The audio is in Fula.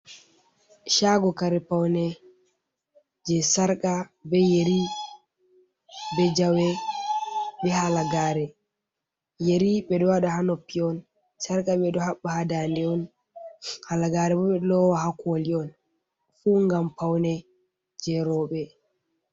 chago kare paune je sarqa be yari be jawe be halagare, yari ɓe ɗo wada ha nopnpi on sarqa beɗo haɓɓa ha dande on halagare ɓee lowa ha koli on fu ngam paune je robe.